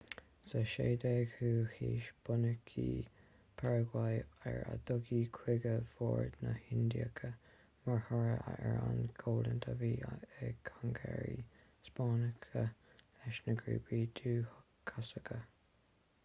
sa 16ú haois bunaíodh paragua ar a dtugtaí cúige mhór na hlndiacha mar thoradh ar an gcoimhlint a bhí ag concairí spáinneacha leis na grúpaí dúchasacha